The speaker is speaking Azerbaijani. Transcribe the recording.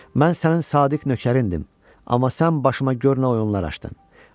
Mən sənin sadiq nökərindim, amma sən başıma gör nə oyunlar açdın.